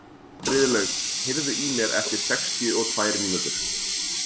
Friðlaug, heyrðu í mér eftir sextíu og tvær mínútur.